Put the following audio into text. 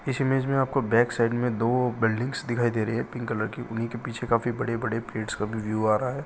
इस इमेज में आपको बेक साइड में दो बिल्डिंग्स दिखाई दे रही है पिंक कलर की उन्ही के पीछे काफी बड़े-बड़े पेड़स का भी व्यू आ रहा है।